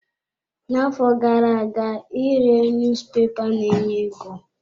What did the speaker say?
Na-afọ gara-aga ire niyuzupepa ne-enye ego.